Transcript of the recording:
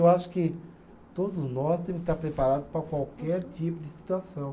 Eu acho que todos nós temos que estar preparados para qualquer tipo de situação.